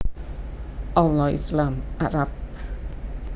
Allah Islam Arab